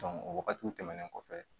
o wagatiw tɛmɛnen kɔfɛ